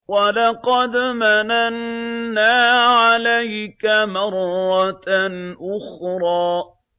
وَلَقَدْ مَنَنَّا عَلَيْكَ مَرَّةً أُخْرَىٰ